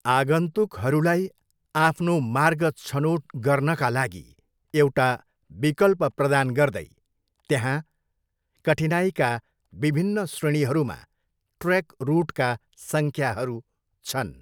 आगन्तुकहरूलाई आफ्नो मार्ग छनोट गर्नाका लागि एउटा विकल्प प्रदान गर्दै, त्यहाँ कठिनाइका विभिन्न श्रेणीहरूमा ट्रेक रुटका सङ्ख्याहरू छन्।